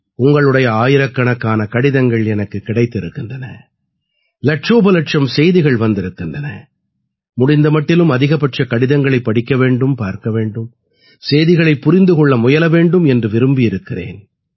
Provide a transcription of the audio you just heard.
உங்களுடைய ஆயிரக்கணக்கான கடிதங்கள் எனக்குக் கிடைத்திருக்கின்றன இலட்சோபலட்சம் செய்திகள் வந்திருக்கின்றன முடிந்த மட்டிலும் அதிகபட்ச கடிதங்களைப் படிக்க வேண்டும் பார்க்க வேண்டும் செய்திகளைப் புரிந்து கொள்ள முயல வேண்டும் என்று விரும்பியிருக்கிறேன்